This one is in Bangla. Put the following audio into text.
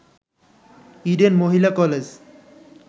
ইডেন মহিলা কলেজ